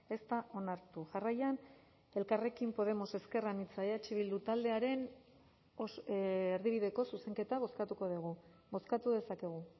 ez da onartu jarraian elkarrekin podemos ezker anitza eh bildu taldearen erdibideko zuzenketa bozkatuko dugu bozkatu dezakegu